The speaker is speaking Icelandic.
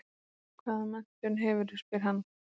Hvaða menntun hefurðu, spyr hann.